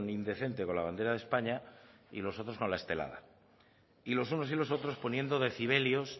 indecente con la bandera de españa y los otros con la estelada y los unos y los otros poniendo decibelios